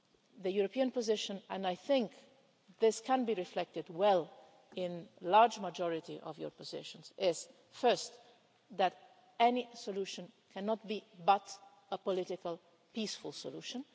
The European position which I think has been reflected well in the great majority of your positions is first that any solution can only be a political, peaceful solution